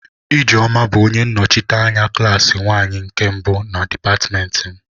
Ijeoma bu onye nnochite anya klaasị nwanyi nke mbu na dipatịmentị m.